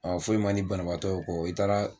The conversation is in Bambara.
foyi man di banabagatɔ ye o kɔ i taara